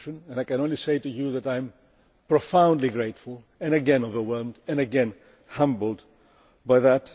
I can only say that I am profoundly grateful, and again overwhelmed, and again humbled, by that.